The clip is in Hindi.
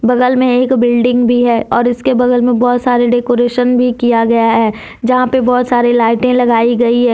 बगल में एक बिल्डिंग भी है और इसके बगल मे बहुत सारे डेकोरेशन भी किया गया है यहां पे बहुत सारी लाइटें लगाई गई है।